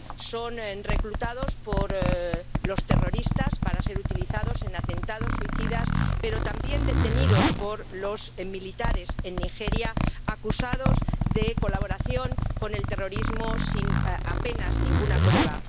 Son reclutados por los terroristas para ser utilizados en atentados suicidas, pero también detenidos por los militares en Nigeria, acusados de colaboración con el terrorismo sin apenas ninguna prueba.